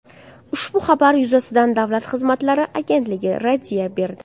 Ushbu xabar yuzasidan Davlat xizmatlari agentligi raddiya berdi.